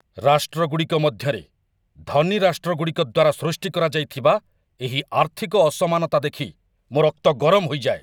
ରାଷ୍ଟ୍ରଗୁଡ଼ିକ ମଧ୍ୟରେ, ଧନୀ ରାଷ୍ଟ୍ରଗୁଡ଼ିକ ଦ୍ୱାରା ସୃଷ୍ଟି କରାଯାଇଥିବା ଏହି ଆର୍ଥିକ ଅସମାନତା ଦେଖି ମୋ ରକ୍ତ ଗରମ ହୋଇଯାଏ।